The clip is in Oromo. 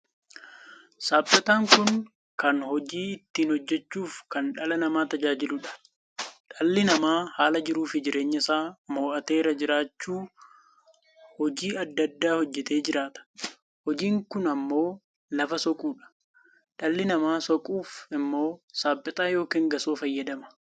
Saapettaan kun kan hojii ittiin hojjechuuf kan dhala namaa tajaajiluudha. dhalli namaa haala jiruu fi jireenya isaa mo'ateera jiraachuu hojii addaa addaa hojjetee jiraata. hojiin kun ammoo lafa soquudha. dhalli namaa saquuf immoo sapettaa ykn gasoo fayyadama.